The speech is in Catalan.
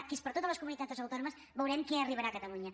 que és per a totes les comunitats autònomes veurem què arribarà a catalunya